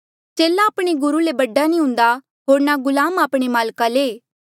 चेला आपणे गुरु ले बडा नी हुन्दा होर ना गुलाम आपणे माल्का ले